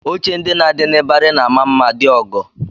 Oche ndị na-adị n'ịbarị na-ama mma dị ọgọ